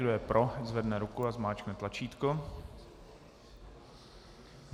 Kdo je pro, zvedne ruku a zmáčkne tlačítko.